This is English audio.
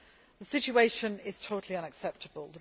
The situation is totally unacceptable.